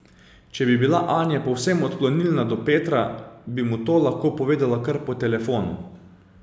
Če bi bila Anja povsem odklonilna do Petra, bi mu to lahko povedala kar po telefonu.